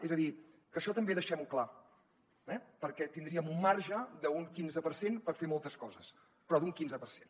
és a dir que això també deixem ho clar eh perquè tindríem un marge d’un quinze per cent per fer moltes coses però d’un quinze per cent